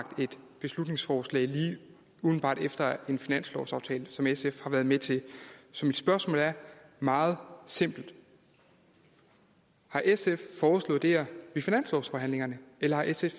et beslutningsforslag lige umiddelbart efter en finanslovsaftale som sf har været med til så mit spørgsmål er meget simpelt har sf foreslået det her ved finanslovsforhandlingerne eller har sf